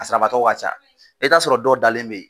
A sarabatɔ ka ca e be t'a sɔrɔ dɔw dalen be yen